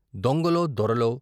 దొంగలో దొరలో